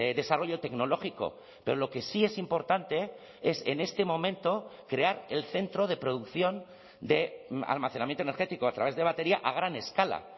desarrollo tecnológico pero lo que sí es importante es en este momento crear el centro de producción de almacenamiento energético a través de batería a gran escala